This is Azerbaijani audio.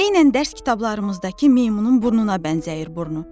Eynən dərs kitablarımızdakı meymunun burnuna bənzəyir burnu.